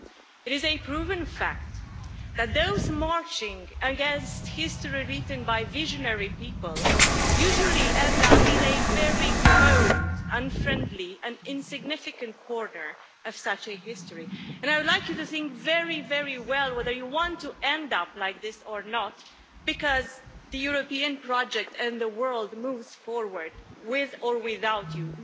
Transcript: It is a proven fact that those marching against history written by visionary people usually end up in a very cold, unfriendly and insignificant quarter of such a history, and I would like you to think very, very well whether you want to end up like this or not, because the European project and the world moves forward, with or without you.